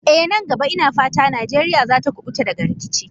Eh, nan gaba ina fata Najeriya za ta kubuta daga rikici.